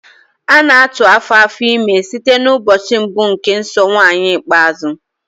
A na-atụ afo afọ ime site n'ụbọchị mbụ nke nsọ nwaanyi ikpeazụ